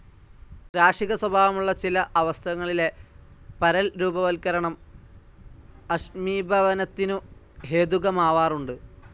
രാശികസ്വഭാവമുള്ള ചില അവസഥങ്ങളിലെ പരൽരൂപവത്കരണം അഷ്‌മീഭവനത്തിനു ഹേതുകമാവാറുണ്ട്.